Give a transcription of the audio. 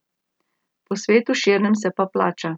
Po svetu širnem se pa plača.